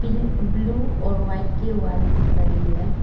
Pink blue और white के wall दिख रही हैं।